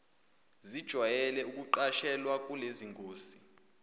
zijwayele ukuqashelwa kulezingosi